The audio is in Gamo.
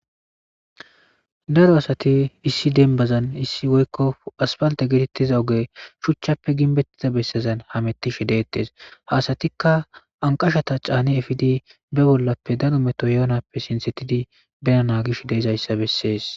daro asati issi denbazan issi woykko asfalta geetettiza oge shuchchappe ginbettiza bessezan hamettishe deettes hasatikka anqashata caani efidi be bollappe danu meto yoonappe sinsetidi benana gish deezayssa bessees